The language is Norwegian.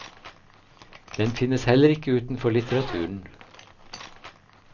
Den finnes heller ikke utenfor litteraturen.